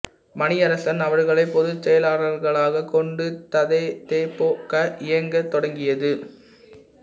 மணியரசன் அவர்களைப் பொதுச் செயலாளராக் கொண்டு த தே பொ க இயங்கத் தொடங்கியது